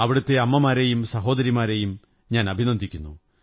അവിടത്തെ അമ്മമാരെയും സഹോദരിമാരെയും ഞാൻ അഭിനന്ദിക്കുന്നു